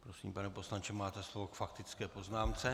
Prosím, pane poslanče, máte slovo k faktické poznámce.